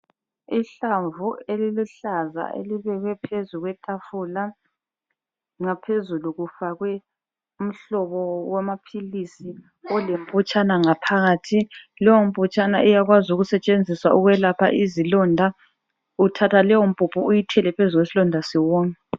Ihlamvu eliluhlaza elibekwe phezu kwetafula ngaphezulu kufakwe umhlobo wamaphilisi olemputshana ngaphakathi. Leyomputshana iyakwazi ukusetshenziswa ukwelapha izilonda. Uthatha leyompuphu uyithele phezu kwesilonda siwome.